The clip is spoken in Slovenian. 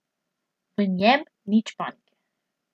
V njem nič panike.